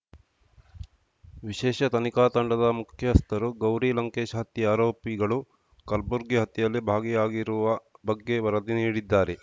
ವಿಶೇಷ ತನಿಖಾ ತಂಡದ ಮುಖ್ಯಸ್ಥರು ಗೌರಿ ಲಂಕೇಶ್‌ ಹತ್ಯೆ ಆರೋಪಿಗಳು ಕಲ್ಬುರ್ಗಿ ಹತ್ಯೆಯಲ್ಲಿ ಭಾಗಿಯಾಗಿರುವ ಬಗ್ಗೆ ವರದಿ ನೀಡಿದ್ದಾರೆ